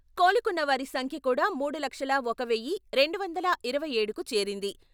కోలుకున్నవారి సంఖ్య కూడా మూడు లక్షల ఒక వెయ్యీ, రెండు వందల ఇరవై ఏడుకు చేరింది.